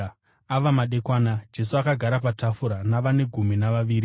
Ava madekwana Jesu akagara patafura navane gumi navaviri.